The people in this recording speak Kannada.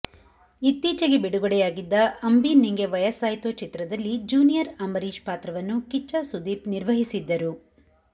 ಇತ್ತೀಚೆಗೆ ಬಿಡುಗಡೆಯಾಗಿದ್ದ ಅಂಬಿ ನಿಂಗೆ ವಯಸ್ಸಾಯ್ತೋ ಚಿತ್ರದಲ್ಲಿ ಜೂನಿಯರ್ ಅಂಬರೀಶ್ ಪಾತ್ರವನ್ನು ಕಿಚ್ಚ ಸುದೀಪ್ ನಿರ್ವಹಿಸಿದ್ದರು